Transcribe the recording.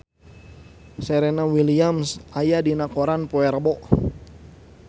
Serena Williams aya dina koran poe Rebo